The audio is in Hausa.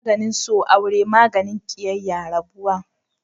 maganin so aure, maganin kiyayya rabuwa